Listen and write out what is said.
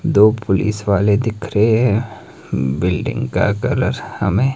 दो पुलिस वाले दिख रहें हैं बिल्डिंग का कलर हमें--